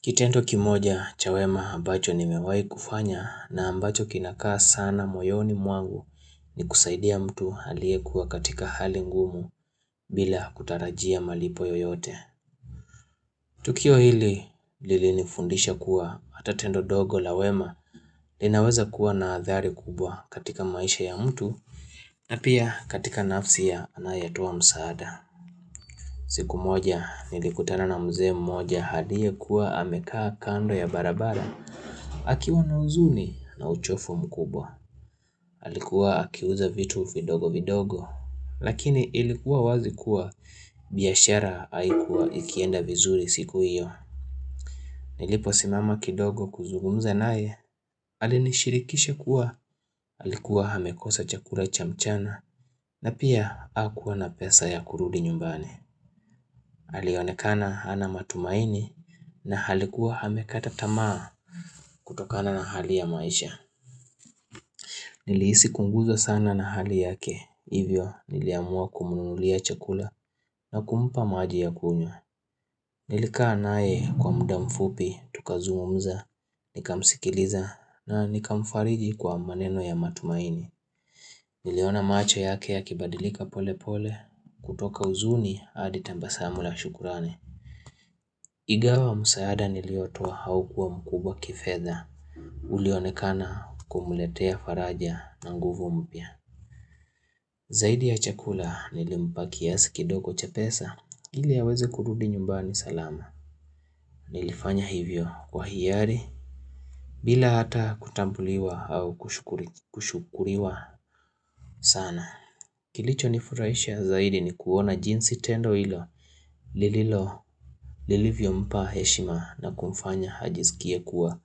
Kitendo kimoja cha wema ambacho nimewahi kufanya na ambacho kinakaa sana moyoni mwangu ni kusaidia mtu aliyekuwa katika hali ngumu bila kutarajia malipo yoyote. Tukio hili lilinifundisha kuwa hata tendo dogo la wema linaweza kuwa na athari kubwa katika maisha ya mtu na pia katika nafsi ya anayetoa msaada. Siku moja nilikutana na mzee mmoja allie kuwa amekaa kando ya barabara akiwa na huzuni na uchovu mkubwa alikuwa akiuza vitu vidogo vidogo Lakini ilikuwa wazi kuwa biashara haikuwa ikienda vizuri siku iyo Niliposimama kidogo kuzugumza naye alinishirikisha kuwa alikuwa amekosa chakula cha mchana na pia hakuwa na pesa ya kurudi nyumbani alionekana hana matumaini na alikuwa aamekata tamaa kutokana na hali ya maisha Nilihisi kuuguza sana na hali yake Hivyo niliamua kumnunulia chakula na kumpa maji ya kunywa Nilika naye kwa muda mfupi tukazungumza Nikamsikiliza na nika mfariji kwa maneno ya matumaini Niliona macho yake ya kibadilika pole pole kutoka huzuni hadi tabasamu oa shukrani ingawa msaada niliotua haukuwa mkubwa kifedha Ulionekana kumletea faraja na nguvu mpya Zaidi ya chakula nilimpaki kiasi kidogo cha pesa ili aweze kurudi nyumbani salama Nilifanya hivyo kwa hiari bila hata kutambuliwa au kushukuriwa sana Kilicho nifurahisha zaidi ni kuona jinsi tendo hilo lililo lilivyompa heshima na kumfanya ajisikie kuwa